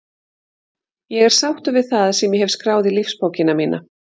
Ég er sáttur við það sem ég hef skráð í lífsbókina mína.